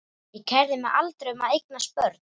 Ég kærði mig aldrei um að eignast börn.